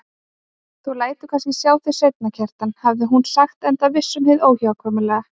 Þú lætur kannski sjá þig seinna, Kjartan, hafði hún sagt enda viss um hið óhjákvæmilega.